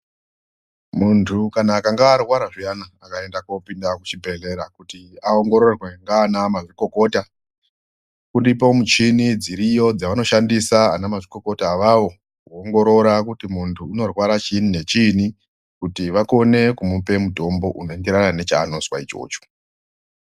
Muntu kana akanga arwara zviyana anokurudzirwa kuti aende kuchibhedhlera kuti aongororwe nganamazvikokota uripo muchini dziriyo dzavanoshandisa ana mazvikokota awawo anongorora kuti munhu unorwara chini nechini kuti vakone kumupe mutombo unoenderana nechaanozwa ichocho.